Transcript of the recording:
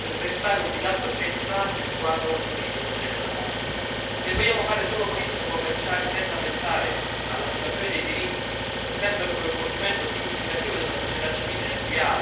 Se vogliamo fare solo politiche commerciali senza pensare alla situazione dei diritti e senza un coinvolgimento significativo della società civile nel dialogo a tutti i livelli, anche il nuovo accordo fallirà come quello precedente.